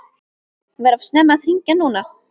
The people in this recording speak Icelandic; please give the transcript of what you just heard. Var of snemmt að hringja núna?